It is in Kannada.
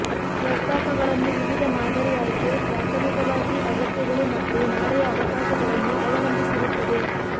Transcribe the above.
ಪ್ರಸ್ತಾಪಗಳನ್ನು ವಿವಿಧ ಮಾದರಿ ಆಯ್ಕೆ ಪ್ರಾಥಮಿಕವಾಗಿ ಅಗತ್ಯಗಳು ಮತ್ತು ನಾಳೆಯ ಅವಕಾಶಗಳನ್ನು ಅವಲಂಬಿಸಿರುತ್ತದೆ